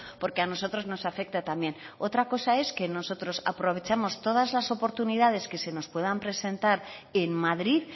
porque a nosotros nos afecta también otra cosa es que nosotros aprovechemos todas las oportunidades que se nos puedan presentar en madrid